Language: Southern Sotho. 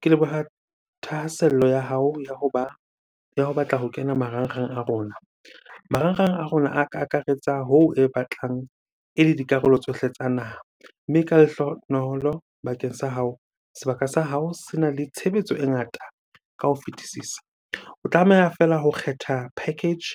Ke leboha thahasello ya hao ya hoba, ya ho batla ho kena marangrang a rona. Marangrang a rona a ka akaretsa ho e batlang ele dikarolo tsohle tsa naha. Mme ka lehlohonolo bakeng sa hao, sebaka sa hao sena le tshebetso e ngata ka ho fetisisa. O tlameha feela ho kgetha package